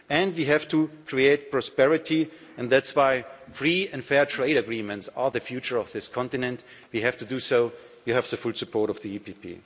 the EPP. We have to create prosperity and that's why free and fair trade agreements are the future of this continent. We have to do so. You have the full support